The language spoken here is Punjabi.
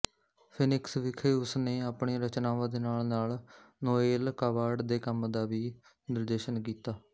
ਫੀਨਿਕਸ ਵਿਖੇ ਉਸਨੇ ਆਪਣੀਆਂ ਰਚਨਾਵਾਂ ਦੇ ਨਾਲਨਾਲ ਨੋਏਲ ਕਾਵਾਰਡ ਦੇ ਕੰਮ ਦਾ ਵੀ ਨਿਰਦੇਸ਼ਨ ਕੀਤਾ